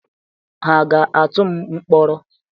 Ha ga-atụ m mkpọrọ?